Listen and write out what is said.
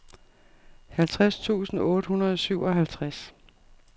halvtreds tusind otte hundrede og syvoghalvtreds